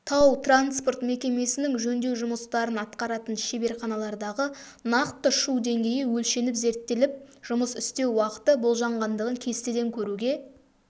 тау-транспорт мекемесінің жөндеу жұмыстарын атқаратын шеберханалардағы нақты шу деңгейі өлшеніп зерттеліп жұмыс істеу уақыты болжанғандығын кестеден көруге